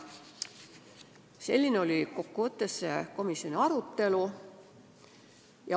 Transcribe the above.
Selline oli kokkuvõttes komisjoni arutelu.